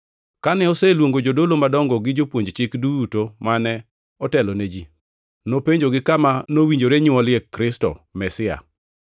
Kane oseluongo jodolo madongo gi jopuonj chik duto mane otelo ne ji, nopenjogi kama nowinjore nywolie Kristo, Mesia.